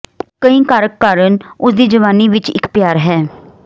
ਕਈ ਕਾਰਕ ਕਾਰਨ ਉਸ ਦੀ ਜਵਾਨੀ ਵਿੱਚ ਇੱਕ ਪਿਆਰ ਹੈ